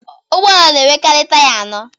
Ụgbọala na enwekari taya anọ.